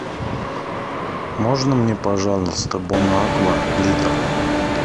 можно мне пожалуйста бонаква литр